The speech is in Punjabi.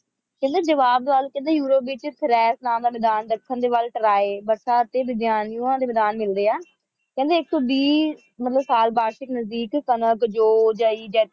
ਕਹਿੰਦੇ ਜਵਾਬਦਲ ਕਹਿੰਦੇ ਯੂਰੋਪ ਦੇ ਵਿੱਚ ਥਰੈਸ਼ ਨਾਮ ਦਾ ਮੈਦਾਨ ਦੱਖਣ ਦੇ ਵੱਲ ਟਰੋਈ ਬਰਖਾ ਅਤੇ ਵਿੱਦਿਆਨ ਯੁਆ ਦੇ ਵਿਧਾਨ ਮਿਲਦੇ ਹੈ ਕਹਿੰਦੇ ਇੱਕ ਸੌ ਵੀਹ ਮਤਲਬ ਸਾਲ ਵਾਰਸ਼ਿਕ ਨਜ਼ਦੀਕ ਕਣਕ ਜੋਂ ਜਈ ਜੈਤੂਨ